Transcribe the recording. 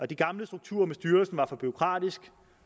de gamle strukturer med styrelsen var for bureaukratiske